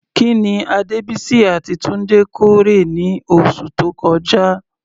Kí ni Adebisi àti Tunde kórè ní oṣù tó kọjá?